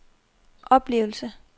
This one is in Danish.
oplevelse